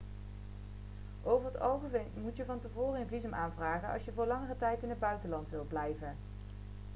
over het algemeen moet je van tevoren een visum aanvragen als je voor langere tijd in het buitenland wilt verblijven